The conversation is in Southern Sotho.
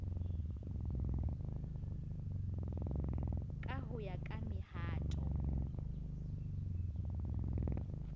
ka ho ya ka mehato